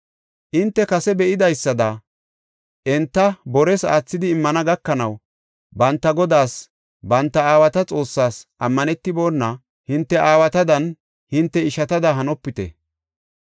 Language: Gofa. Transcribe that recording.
Hinte kase be7idaysada enta bores aathidi immana gakanaw banta Godaas, banta aawata Xoossaas ammanetibona hinte aawatadanne hinte ishatada hanopite.